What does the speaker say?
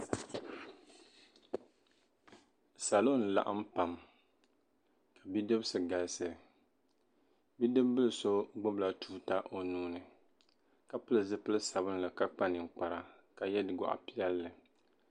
salo m-laɣim pam bidibisi galisi bidibibila so gbubila tuuta o nuu ni ka pili zipil' sabilinli ka kpa ninkpara ka ye gɔɣ' piɛlli